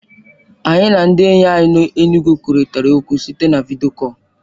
Anyị na ndị enyi anyị nọ n'Enugwu kwurịtara okwu site na vidiyo kọl.